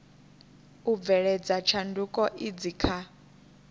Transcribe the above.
u bveledza tshanduko idzi kha